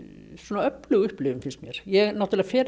öflug upplifun finnst mér ég náttúrulega fer